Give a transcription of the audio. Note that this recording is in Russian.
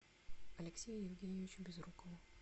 алексею евгеньевичу безрукову